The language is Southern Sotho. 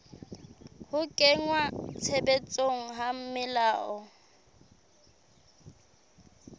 ho kenngwa tshebetsong ha melao